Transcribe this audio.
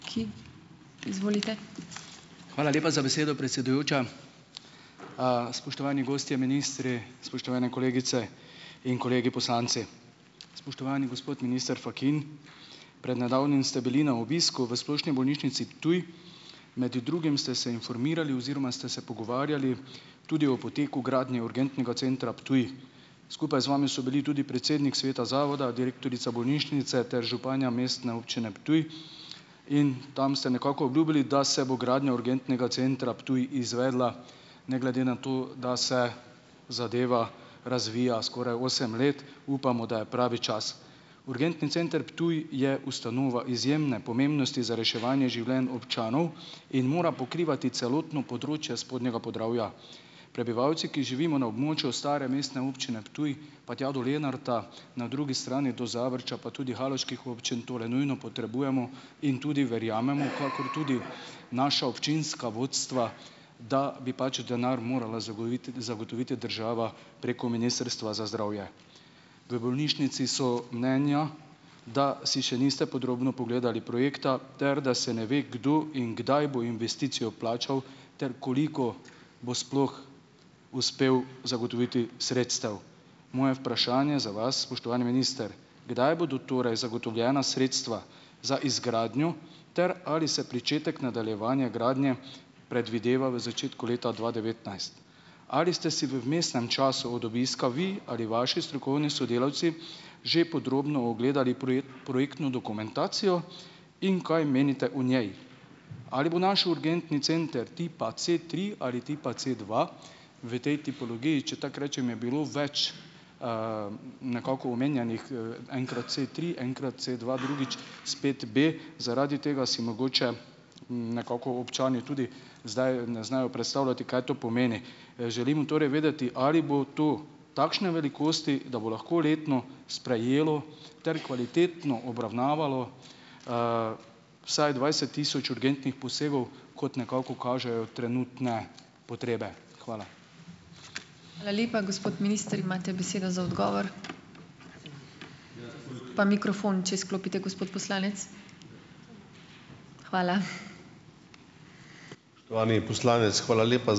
Hvala lepa za besedo, predsedujoča. Spoštovani gostje, ministri, spoštovane kolegice in kolegi poslanci! Spoštovani gospod minister Fakin, pred nedavnim ste bili na obisku v Splošni bolnišnici Ptuj. Med drugim ste se informirali oziroma ste se pogovarjali tudi o poteku gradnje urgentnega centra Ptuj. Skupaj z vami so bili tudi predsednik sveta zavoda, direktorica bolnišnice ter županja Mestne občine Ptuj. In tam ste nekako obljubili, da se bo gradnja urgentnega centra Ptuj izvedla ne glede na to, da se zadeva razvija skoraj osem let. Upamo, da je pravi čas. Urgentni center Ptuj je ustanova izjemne pomembnosti za reševanje življenju občanov in mora pokrivati celotno področje spodnjega Podravja. Prebivalci, ki živimo na območju stare mestne občine Ptuj pa tja do Lenarta, na drugi strani do Zavrča, pa tudi haloških občin, tole nujno potrebujemo in tudi verjamemo, kakor tudi naša občinska vodstva, da bi pač denar morala zagooviti zagotoviti država preko Ministrstva za zdravje. V bolnišnici so mnenja, da si še niste podrobno pogledali projekta ter da se ne ve kdo in kdaj bo investicijo plačal ter koliko bo sploh uspel zagotoviti sredstev. Moje vprašanje za vas, spoštovani minister: Kdaj bodo torej zagotovljena sredstva za izgradnjo, ter ali se pričetek nadaljevanja gradnje predvideva v začetku leta dva devetnajst? Ali ste si v vmesnem času od obiska vi ali vaši strokovni sodelavci že podrobno ogledali projektno dokumentacijo in kaj menite o njej? Ali bo naš urgentni center tipa C tri ali tipa C dva? V tej tipologiji, če tako rečem, je bilo več, nekako omenjenih, enkrat C tri, enkrat C dva, drugič spet B. Zaradi tega si mogoče nekako občani tudi zdaj ne znajo predstavljati, kaj to pomeni. Želimo torej vedeti, ali bo tu takšne velikosti, da bo lahko letno sprejelo ter kvalitetno obravnavalo vsaj dvajset tisoč urgentnih posegov, kot nekako kažejo trenutne potrebe. Hvala.